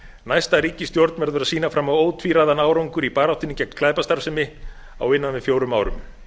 næsta ríkisstjórn verður að sýna fram á ótvíræðan árangur í baráttunni gegn glæpastarfsemi á innan við fjórum árum